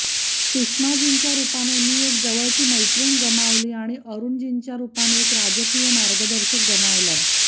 सुषमाजींच्या रुपाने मी एक जवळची मैत्रीण गमावली आणि अरुणजींच्या रुपाने एक राजकीय मार्गदर्शक गमावला